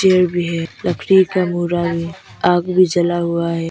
Chair भी है लकड़ी का बूरा भी आग भी जला हुआ है।